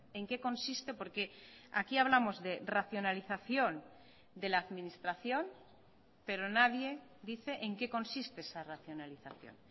en qué consiste porque aquí hablamos de racionalización de la administración pero nadie dice en qué consiste esa racionalización